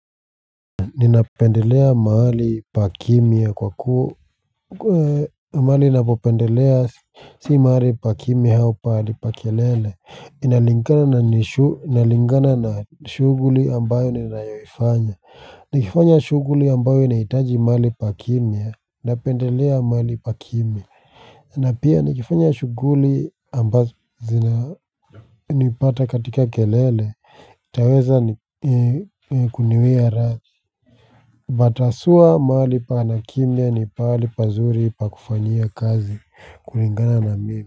Ninapendelea mahali pa kimya kwa kuwa mahali ninapopendelea si mahali pa kimya au pahali pa kelele inalingana na shughuli ambayo ninayoifanya nikifanya shughuli ambayo inahitaji mahali pa kimya napendelea mahali pa kimya na pia nikifanya shughuli ambazo zina nipata katika kelele ntaweza ni kuniwia radhi. Mataswa mahali pana kimya ni pahali pazuri pa kufanyia kazi kulingana na mimi.